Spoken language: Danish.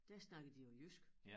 Der snakkede de jo jysk